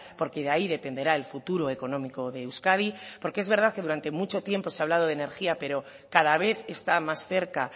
porque de ahí dependerá el futuro económico de euskadi porque es verdad que durante mucho tiempo se ha hablado de energía pero cada vez está más cerca